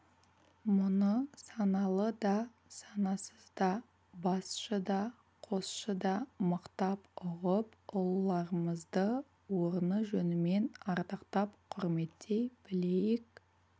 мұны саналы да санасыз да басшы да қосшы да мықтап ұғып ұлыларымызды орны жөнімен ардақтап құрметтей білейік